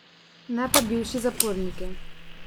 Ne pa bivši zaporniki.